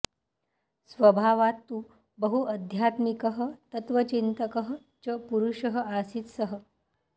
स्वभावात् तु बहु अध्यात्मिकः तत्त्वचिन्तकः च पुरुषः आसीत् सः